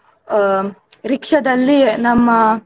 ಆ rickshaw ದಲ್ಲಿ ನಮ್ಮ.